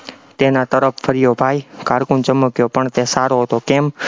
તેના તરફ ફર્યો, ભાઈ cocoon ચમક્યો પણ તે સારો હતો, કેમ